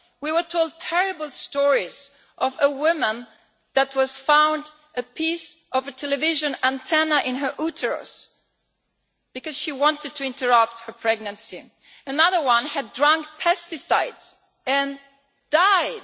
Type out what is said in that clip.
We were told terrible stories of a woman that was found with a piece of a television antenna in her uterus because she wanted to interrupt her pregnancy. Another one had drunk pesticide and died.